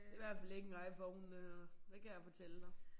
Det i hvert fald ikke en Iphone det her. Det kan jeg fortælle dig